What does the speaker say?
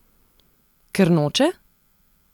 Ker noče?